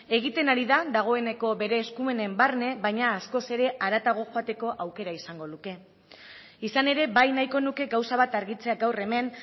egiten ari da dagoeneko bere eskumenen barne baino askoz ere haratago joateko aukera izango luke izan ere bai nahiko nuke gauza bat argitzea gaur hemen